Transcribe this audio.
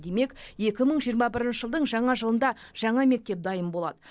демек екі мың жиырма бірінші жылдың жаңа жылында жаңа мектеп дайын болады